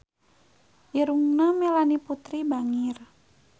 Irungna Melanie Putri bangir